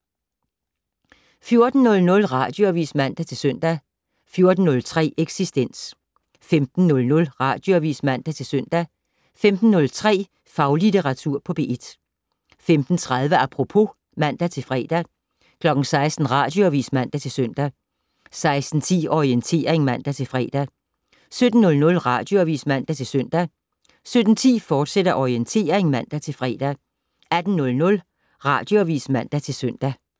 14:00: Radioavis (man-søn) 14:03: Eksistens 15:00: Radioavis (man-søn) 15:03: Faglitteratur på P1 15:30: Apropos (man-fre) 16:00: Radioavis (man-søn) 16:10: Orientering (man-fre) 17:00: Radioavis (man-søn) 17:10: Orientering, fortsat (man-fre) 18:00: Radioavis (man-søn)